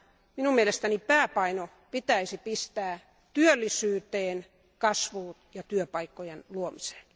Minun mielestäni pääpaino pitäisi pistää työllisyyteen, kasvuun ja työpaikkojen luomiseen.